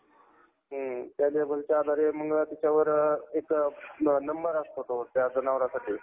त्यासाठी Aadhar card आणि एक बघ address proof लागंल. आणि म्हणजे बघ सोप्पंय